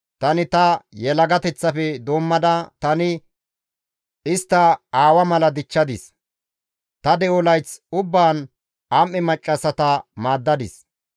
Tani ta yelagateththafe doommada tani istta aawa mala dichchadis, ta de7o layth ubbaan am7e maccassata maaddadis.